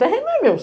Terreno não é meu.